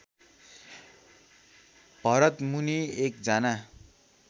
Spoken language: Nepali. भरतमुनि एकजना